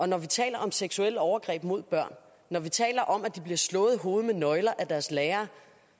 når vi taler om seksuelle overgreb mod børn når vi taler om at de bliver slået i hovedet med nøgler af deres lærere